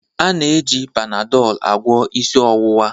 A na-eji Panadol agwọ isi ọwụwa